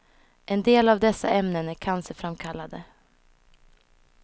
En del av dessa ämnen är cancerframkallande.